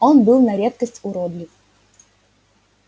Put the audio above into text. он был на редкость уродлив